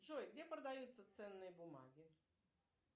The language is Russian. джой где продаются ценные бумаги